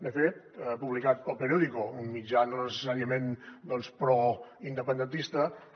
de fet publicat per el periódico un mitjà no necessàriament doncs proindependentista